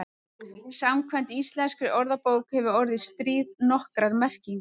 Samkvæmt íslenskri orðabók hefur orðið stríð nokkrar merkingar.